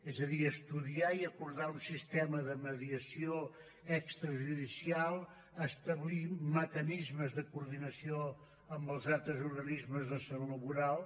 és a dir estudiar i acordar un sistema de mediació extrajudicial establint mecanismes de coordinació amb els altres organismes de salut laboral